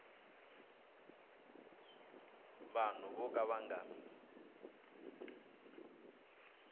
vanhu vo ka va nga